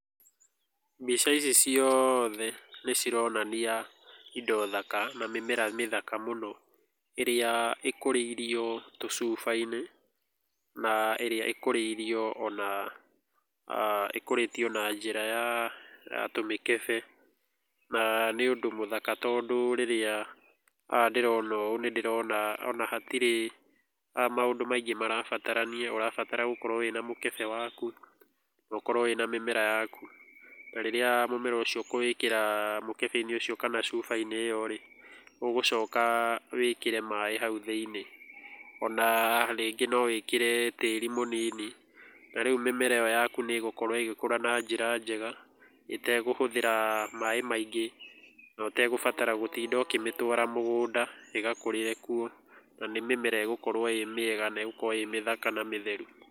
Mbica ici ciothe nĩ cironania indo thaka na mĩmera mĩthaka mũno ĩrĩa ĩkũrĩirio tucuba-inĩ na ĩria ikorĩirio ona ĩkũrĩtio na njĩra ya tumĩkebe na nĩ ũndũ mũthaka tondũ rĩrĩa ndĩrona ũũ nĩ ndĩrona ona hatirĩ maũndũ maingĩ marabatarania. Ũrabatara gũkorũo wĩna mũkebe waku na ũkorũo wĩna mĩmera yaku, na rĩrĩa mũmera ũcio ũkũwĩkĩra mũkebe-inĩ ũcio kana cuba-inĩ ĩyo rĩ, ũgũcoka wĩkĩre maĩ hau thĩinĩ. Ona rĩngĩ no wĩkĩre tĩĩri mũnini na rĩu mĩmera ĩyo yaku nĩ ĩgũkorũo ĩgĩkũra na njĩra njega itekũhũthĩra maĩ maingĩ, na ũtegũbatara gũtinda ũkĩmĩtwara mũgũnda ĩgakũrĩre kuo. Na nĩ mĩmera ĩgũkorũo ĩĩ mĩega na ĩgũkorũo ĩĩ mĩthaka na mĩtheru.